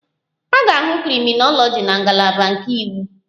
A ga-ahụ krịminoloji na ngalaba nke iwu